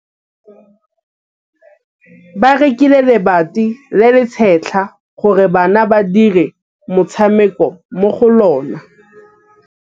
Ba rekile lebati le le setlha gore bana ba dire motshameko mo go lona.